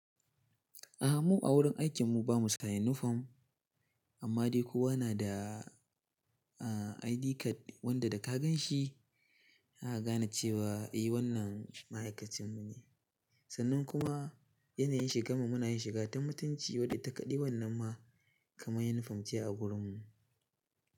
A'a mu a wurin aikin mu bamu sa unifom amma dai kowa na da ID card wanda da ka gan shi zaka gane cewa eh wannan ma'aikacin mu ne. Sannan kuma yanayin shigan mu muna yin shiga ta mutunci wada ita kadai wannan ma kamar yunifom ce a wurin mu.